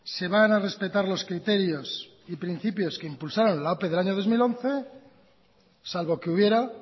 se van a respetar los criterios y principios que impulsaron la ope del año dos mil once salvo que hubiera